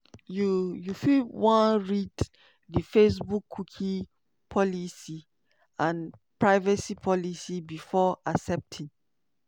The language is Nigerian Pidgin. you you fit wan read di facebookcookie policyandprivacy policybefore accepting.